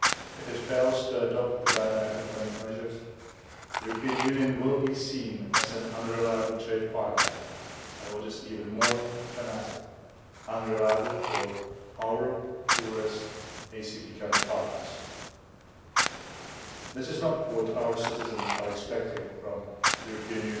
If it fails to adopt the Banana Accompanying Measures, the European Union will be seen as an unreliable trade partner and, what is even more dramatic, unreliable for our poorest ACP partners. This is not what our citizens are expecting from the European